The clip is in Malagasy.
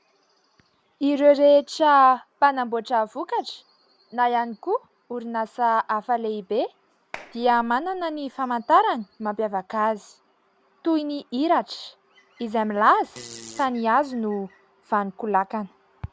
Ireo rehetra mpanamboatra vokatra, na ihany koa orinasa hafa lehibe, dia manana ny famantarany mampiavaka azy, toy ny iratra izay milaza, fa ny hazo no vanon-kolakana.